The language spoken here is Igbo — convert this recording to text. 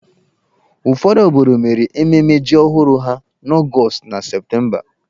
Ụfọdụ obodo mere ememme ji ọhụrụ ha n'Ọgọọst na Septemba.